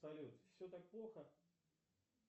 салют все так плохо